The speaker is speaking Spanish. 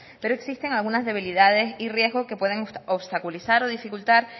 pero existen algunas debilidades y riesgos que pueden obstaculizar o dificultar